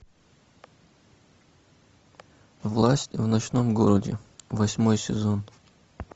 власть в ночном городе восьмой сезон